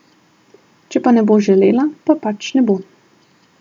Če pa ne bo želela, pa pač ne bo.